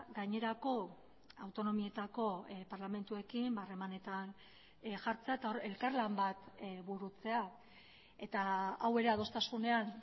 gainerako autonomietako parlamentuekin harremanetan jartzea eta hor elkarlan bat burutzea eta hau ere adostasunean